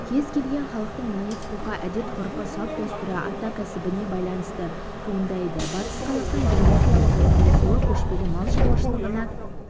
кез-келген халықтың мінез-құлқы әдет-ғұрпы салт-дәстүрі ата кәсібіне байланысты туындайды батыс қазақстанның географиялық орналасуы көшпелі мал шаруашылығына